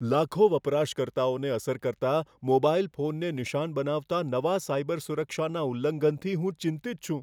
લાખો વપરાશકર્તાઓને અસર કરતા મોબાઇલ ફોનને નિશાન બનાવતા નવા સાયબર સુરક્ષાના ઉલ્લંઘનથી હું ચિંતિત છું.